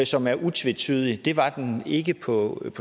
som er utvetydig det var den ikke på